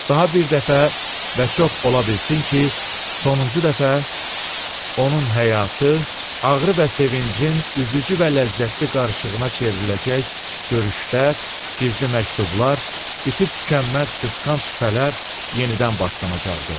Daha bir dəfə və çox ola bilsin ki, sonuncu dəfə onun həyatı ağrı və sevincin üzücü və ləzzətli qarışığına çevriləcək görüşlər, gizli məktublar, bitib-tükənməz qısqanc şübhələr yenidən başlanacaqdı.